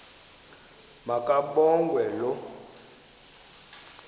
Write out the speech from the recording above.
ma kabongwe low